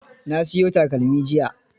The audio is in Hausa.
Na siyo takalmi jiya.